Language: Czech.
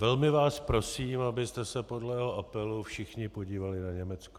Velmi vás prosím, abyste se podle jeho apelu všichni podívali na Německo.